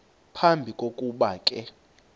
phambi kokuba ke